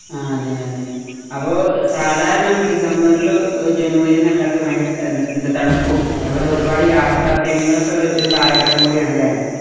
ആ അതെയതെ അപ്പൊ സാധാരണ നമ്മക്ക് ഡിസംബർലോ ജനുവരിന്നെല്ലക്കൊ ഭയങ്കര ത എന്ത എന്താ തണുപ്പും അതുപോലെ ഒരുപാട് യാത്രാ പ്രേമികളൊക്കെ ഒര് ഒര് കാലഘട്ടം കൂടിയാണ് ല്ലേ?